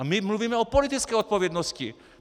A my mluvíme o politické odpovědnosti!